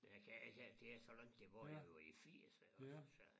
Jeg kan jeg kan det er så langt tilbage det jo i firserne ik også så